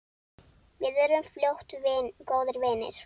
Við urðum fljótt góðir vinir.